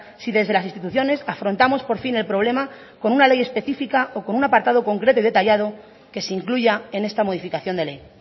si desde las instituciones afrontamos por fin el problema con una ley específica o con un apartado concreto y detallado que se incluya en esta modificación de ley